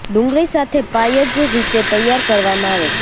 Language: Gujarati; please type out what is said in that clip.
ડુંગળી સાથે પાઈ જ રીતે તૈયાર કરવામાં આવે છે